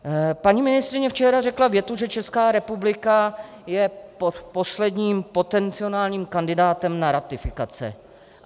Paní ministryně včera řekla větu, že Česká republika je posledním potenciálním kandidátem na ratifikaci.